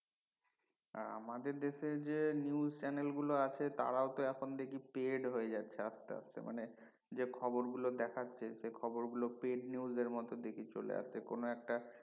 আমাদের দেশে যে news channel গুলো আছে তারাও তো এখন দেখি paid হয়ে যাচ্ছে আসতে আসতে মানে যে খবর গুলো দেখাচ্ছে সে খবর গুলো paid news এর মত দেখি চলে আসে কোন একটা